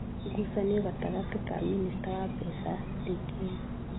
Ngucanio gatagatĩ ka minista wa mbeca, Dk.